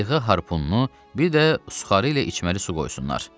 qayığa harpununu, bir də suxarı ilə içməli su qoysunlar.